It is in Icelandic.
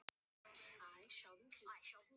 Þú gafst það sem þú gast, mamma.